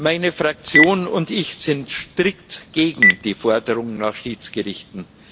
Meine Fraktion und ich sind strikt gegen die Forderung nach Schiedsgerichten.